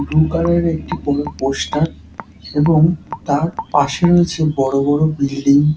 Blue কালারের একটি বড় পোস্টার এবং তার পাশে রয়েছে বড় বড় বিল্ডিং ।